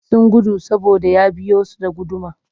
Sun gudu saboda ya biyo su da guduma